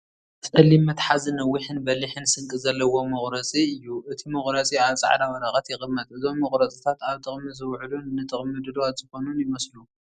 ጸሊም መትሓዚን ነዊሕን በሊሕን ስንቂ ዘለዎ መቑረጺ እዩ። እቲ መቑረጺ ኣብ ጻዕዳ ወረቐት ይቕመጥ። እዞም መቑረጺታት ኣብ ጥቕሚ ዝውዕሉን ንጥቕሚ ድሉዋት ዝኾኑን ይመስሉ።